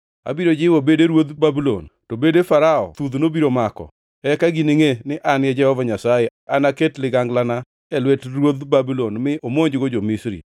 Abiro jiwo bede ruodh Babulon, to bede Farao thudhno biro mako. Eka giningʼe ni An e Jehova Nyasaye, ka anaket liganglana e lwet ruodh Babulon mi omonjgo jo-Misri.